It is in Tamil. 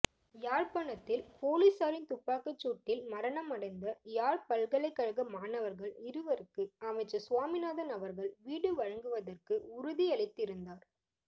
யாழ்ப்பாணத்தில் பொலிஸாரின் துப்பாக்கிச்சூட்டில் மரணமடைந்த யாழ்பல்லைக்கழகமாணவர்கள் இருவருக்கு அமைச்சர் சுவாமிநாதன் அவர்கள் வீடு வழங்குவதற்கு உறுதியளித்திருந்தார்